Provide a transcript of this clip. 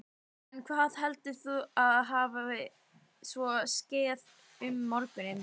En hvað heldurðu að hafi svo skeð um morguninn?